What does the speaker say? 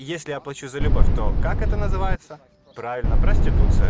если я плачу за любовь то как это называется правильно проституция